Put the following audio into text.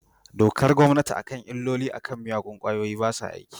Dokar gommanti a kan illolin a kan miyagun kwayoyi basa aiki.